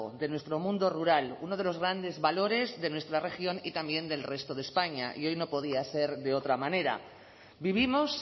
de nuestro mundo rural uno de los grandes valores de nuestra región y también del resto de españa y hoy no podía ser de otra manera vivimos